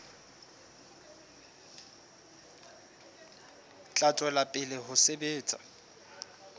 tla tswela pele ho sebetsa